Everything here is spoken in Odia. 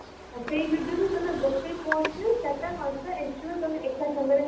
ସେଇ video ବି ତମେ ଗୋଟେ post ରେ ଚାରିଟା, ପଞ୍ଚାଟା extra ତମେ ଏକ ସାଙ୍ଗରେ post କରିପାରିବ ଆଛା ଏଇଟା ମାନେ